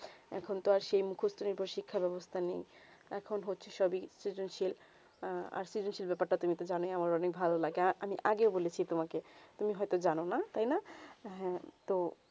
এখন তো আর সেই মুখস্ত শিক্ষা বেবস্তা নেই এখন হচ্ছে সভি সেজনশীল আস্তে সেই ব্যাপার তা তুমি তো জানো আমার অনেক ভালো লাগে আর আমি আগে বলেছি তোমাকে তুমি হয়ে তো জানো না তাই না হেঁ তো